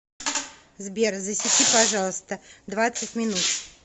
сбер засеки пожалуйста двадцать минут